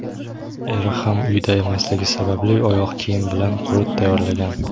Eri ham uyda emasligi sababli oyoq kiyim bilan qurut tayyorlagan.